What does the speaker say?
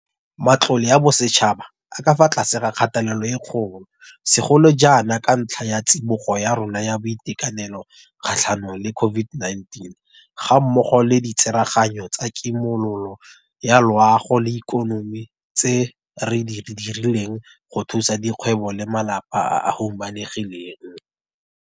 Matlole a bosetšhaba a ka fa tlase ga kgatelelo e kgolo, segolo ga jaana ka ntlha ya tsibogo ya rona ya boitekanelo kgatlhanong le COVID-19 gammogo le ditsereganyo tsa kimololo ya loago le ikonomi tse re di dirileng go thusa dikgwebo le malapa a a humanegileng.